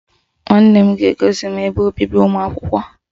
Nwanne m ga-egosi m ebe obibi ụmụakwụkwọ.